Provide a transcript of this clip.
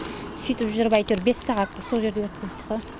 сөйтіп жүріп әйтеуір бес сағатты сол жерде өткіздік қой